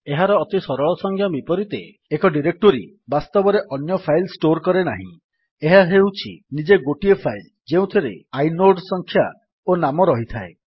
ଏହାର ଅତି ସରଳ ସଜ୍ଞା ବିପରୀତେ ଏକ ଡିରେକ୍ଟୋରୀ ବାସ୍ତବରେ ଅନ୍ୟ ଫାଇଲ୍ ଷ୍ଟୋର୍ କରେ ନାହିଁ ଏହା ହେଉଛି ନିଜେ ଗୋଟିଏ ଫାଇଲ୍ ଯେଉଁଥିରେ ଆଇନୋଡ୍ ସଂଖ୍ୟା ଓ ନାମ ରହିଥାଏ